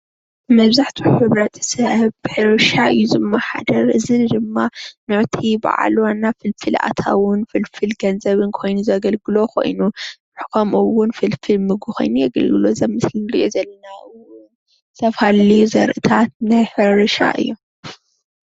መብዛሕትኡ ሕብረተሰብ ብሕርሻ እዩ ዝመሓደር ፡፡ እዚ ድማ ነቲ ባዓል ዋና ፍልፍል ኣታዊን ፍልፍል ገንዘብን ኮይኑ ዘገልግሎ ኮይኑ ከምኡ እውን ፍልፍል ምግቢ ኮይኑ የገልግሎ፡፡ እዚ ኣብ ምስሊ እንሪኦ ዘለና እውን ዝተፈላለየ ዘርእትታት ናይ ሕርሻ እዮም፡፡